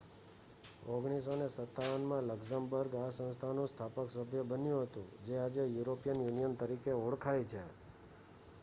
1957માં Luxembourg આ સંસ્થાનું સ્થાપક સભ્ય બન્યું હતું જે આજે યુરોપિયન યુનિયન તરીકે ઓળખાય છે